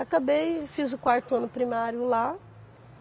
Acabei e fiz o quarto ano primário lá.